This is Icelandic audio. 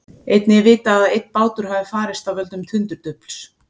Einnig er vitað að einn bátur hafi farist af völdum tundurdufls.